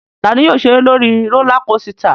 Ta ni yóò ṣeré lórí rólá kosità?